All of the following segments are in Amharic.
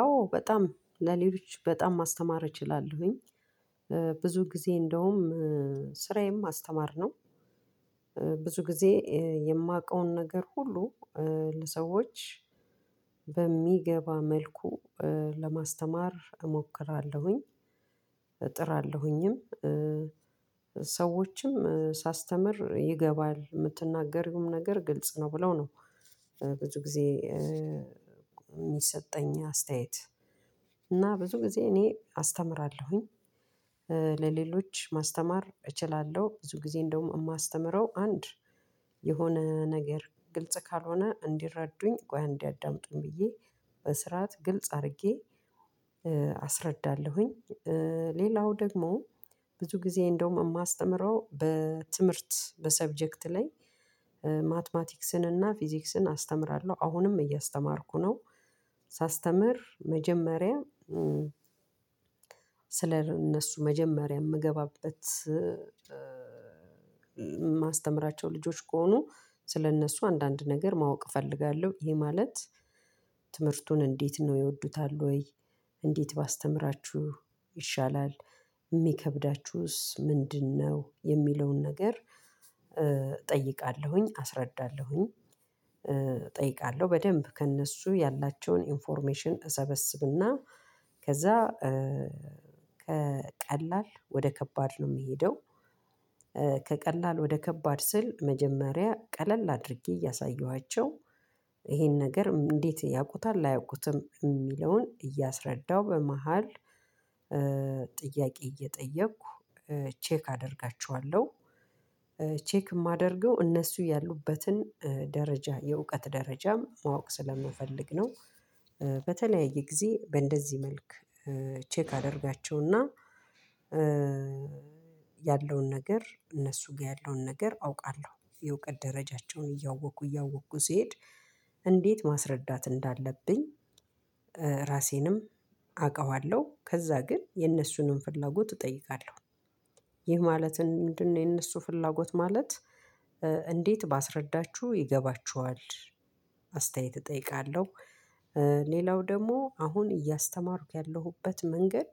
አዎ በጣም ለሌሎች በጣም ማስተማር እችላለሁኝ ብዙ ጊዜ እንደውም ስራዬም ማስተማር ነው። ብዙ ጊዜ የማውቀውን ነገር ሁሉ ለሰዎች በሚገባ መልኩ ለማስተማር እሞክራለሁኝ። እጥራለሁኝም። ሰዎችም ሳስተምር ይገባል ምትናገሪዉም ነገር ግልጽ ነው ብለው ነው ብዙ ጊዜ የሚሰጠኝ አስተያየት እና ብዙ ጊዜ እኔ አስተምራለሁኝ። ለሌሎች ማስተማር እችላለሁ ብዙ ጊዜ እንደውም የማስተምረው አንድ የሆነ ነገር ግልጽ ካልሆነ እንዲረዱኝ ቆይ አንዴ አዳምጡኝ ብዬ በስርዓት ግልጽ አድርጌ አስረዳለሁኝ። ሌላው ደግሞ ብዙ ጊዜ እንደውም የማስተምረው በትምህርት በሰብጀክት ላይ ማትማቲክስን እና ፊዚክስን አስተምራለሁ አሁንም እያስተማርኩ ነው። መጀመሪያ ስለ እነሱ መጀመሪያ ምገባበት ማስተምራቸው ልጆች ከሆኑ ስለእነሱ አንዳንድ ነገር ማወቅ እፈልጋለሁ። ይሄ ማለት ትምህርቱን እንዴት ነው ይወዱታል ወይ? እንዴት ባስተምራችሁ ይሻላል የሚከብዳችሁስ ምንድነው? የሚለውን ነገር እጠይቃለሁኝ አስረዳለሁኝ እጠይቃለሁ በደንብ ከእነሱ ያላቸውን ኢንፎርሜሽን እሰበስብና ከዛ ከቀላል ወደ ከባድ ነው ምሄደው። ከቀላል ወደ ከባድ ስል መጀመሪያ ቀለል አድርጌ እያሳየኋቸው ይሄን ነገር እንዴት ያውቁታል? አያውቁትም? ሚለውን እያስረዳው በመሃል ጥያቄ እየጠየቅሁ ቸክ አደርጋቸዋለሁ። ቼክ የማደርገው እነሱ ያሉበትን ደረጃ የእውቀት ደረጃም ማወቅ ስለምፈልግ ነው። በተለያየ ጊዜ በእንደዚህ መልክ ቼክ አደርጋቸውና ያለውን ነገር እነሱ ጋር ያለውን ነገር አውቃለሁ። የእውቀት ደረጃቸውን እያወቁ እያወቁ ሲሄድ ማስረዳት እንዳለብኝ ራሴንም አውቀዋለሁ። ከዛ ግን የነሱንም ፍላጎት እጠይቃለሁ። ይህ ማለት ምንድነው? የነሱ ፍላጎት ማለት እንዴት ባስረዳችሁ ይገባችኋል። አስተያየት እጠይቃለሁ። ሌላው ደግሞ አሁን እያስተማሩክ ያለሁበት መንገድ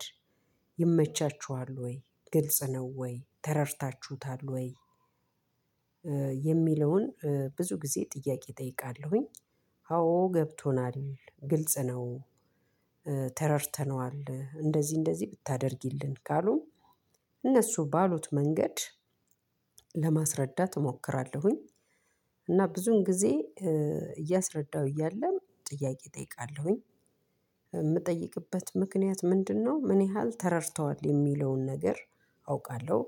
ይመቻችኋል ወይ? ግልጽ ነው። ወይ ተረድታችሁታል? ወይ የሚለውን ብዙ ጊዜ ጥያቄ እጠይቃለሁኝ። አዎ ገብቶናል ግልጽ ነው። ተረድተነዋል እንደዚህ እንደዚህ ብታደርጊልን ካሉ እነሱ ባሉት መንገድ ለማስረዳት እሞክራለሁኝ። እና ብዙን ጊዜ እያስረዳሁ እያለም ጥያቄ እጠይቃለሁኝ። ምጠይቅበት ምክንያት ምንድነው ምን ያህል ተረድተዋል የሚለውን ነገር አውቃለሁ።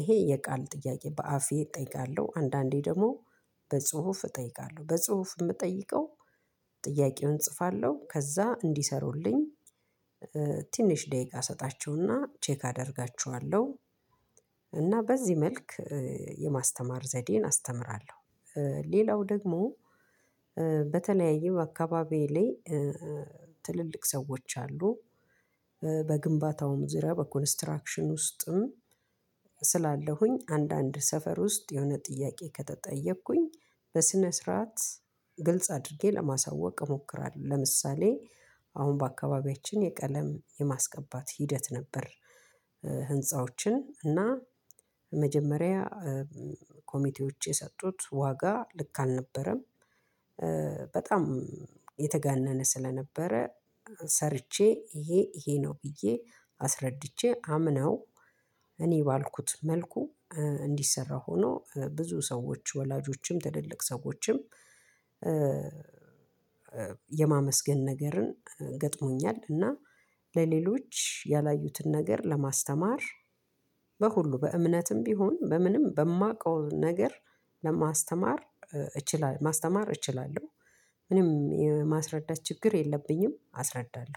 ይሄ የቃል ጥያቄ በአፌ እጠይቃለሁ። አንዳንዴ ደግሞ በጽሁፍ እጠይቃለሁ በጽሁፍ ምጠይቀው ጥያቄውን እጽፋለሁ ከዛ እንዲሰሩልኝ ትንሽ ደቂቃ እሰጣቸውና ቼክ አደርጋችኋለሁ። እና በዚህ መልክ የማስተማር ዘዴን አስተምራለሁ። ሌለው ደግሞ በተለይም በአካባቢየ ለይ ትልልቅ ሰዎች አሉ። በግንባታውም ዙሪያ በኮንስትራክሽን ውስጥም ስላለሁኝ አንዳንድ ሰፈር ውስጥ የሆነ ጥያቄ ከተጠየቅኩኝ በስነ ስርዓት ግልጽ አድርጌ ለማሳወቅ እሞክራለሁ። ለምሳሌ አሁን በአካባቢያችን የቀለም የማስቀባት ሂደት ነበር። ህንፃዎችን እና መጀመሪያ ኮሚቴዎች የሰጡት ዋጋ ልክ አልነበረም። በጣም የተጋነነ ስለነበረ ሰርቼ ይሄ ይሄ ነው ብዬ አስረድቼ አምነው እኔ ባልኩት መልኩ እንዲሰራ ሆኖ ብዙ ሰዎች ወላጆችም ትልልቅ ሰዎችም። የማመስገን ነገርን ገጥሞኛል። እና ለሌሎች ያላዩትን ነገር ለማስተማር በሁሉ በእምነትም ቢሆን በምንም በማውቀው ነገር ማስተማር እችላለሁ። ምንም የማስረዳት ችግር የለብኝም አስረዳለሁ